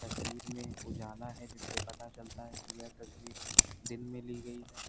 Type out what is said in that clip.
तस्वीर में उजाला है जिससे पता चलता है कि यह तस्वीर दिन में ली गई है।